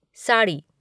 sari